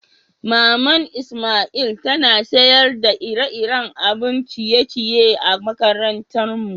Mama'n lsmail tana sayar da iri-irin abin ciye-ciye a'makarantan mu.